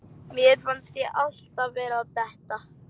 Mér fannst ég alltaf vera að detta.